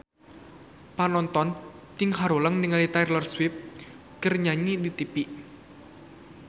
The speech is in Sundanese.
Panonton ting haruleng ningali Taylor Swift keur nyanyi di tipi